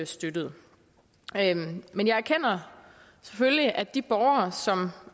støttede men jeg erkender selvfølgelig at de borgere som